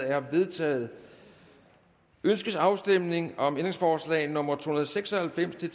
er vedtaget ønskes afstemning om ændringsforslag nummer to hundrede og seks og halvfems til